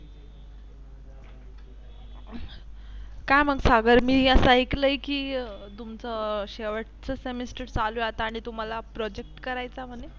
काय मग सागर मी अस ऐकलं की तुमच शेवटचं Semester चालू आहे आणि तुम्हाला Project करायच म्हणे.